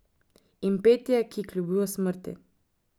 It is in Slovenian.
In petje, ki kljubuje smrti.